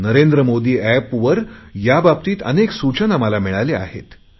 नरेंद्र मोदी एपवर याबाबतीत अनेक सूचना मला मिळाल्या आहेत